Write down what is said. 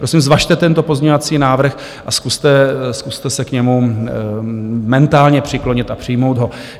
Prosím, zvažte tento pozměňovací návrh a zkuste se k němu mentálně přiklonit a přijmout ho.